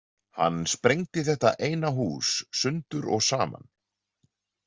Hann sprengdi þetta eina hús sundur og saman.